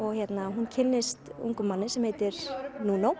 hún kynnist ungum manni sem heitir